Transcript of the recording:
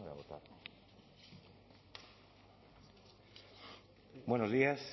buenos días